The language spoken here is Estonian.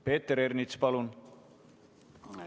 Peeter Ernits, palun!